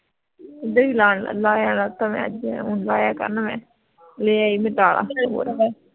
ਲਾਇਆ ਨਸ ਥਾ ਮੈਂ ਹੁਣ ਲਾਇਆ ਕਰਨਾ ਮੈਂ ਲੇ ਆਈ ਮੈਂ ਤਾਲਾ